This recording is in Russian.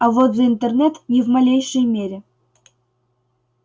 а вот за интернет ни в малейшей мере